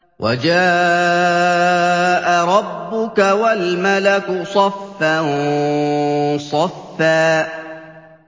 وَجَاءَ رَبُّكَ وَالْمَلَكُ صَفًّا صَفًّا